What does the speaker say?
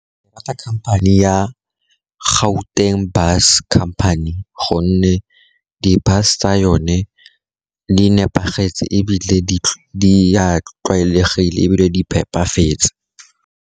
Ke rata khamphane ya Gauteng bus company, gonne di bus tsa yone di nepagetse ebile di tlwaelegile ebile di phepafetse.